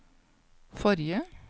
forrige